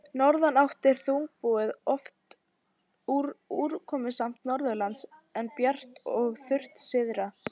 Í norðanátt er þungbúið og oft úrkomusamt norðanlands, en bjart og þurrt syðra.